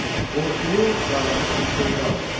Qorxulu, qaranlıq bir şey qalmır.